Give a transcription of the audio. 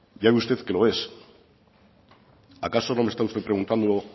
ya ve usted que lo es acaso no me está usted preguntado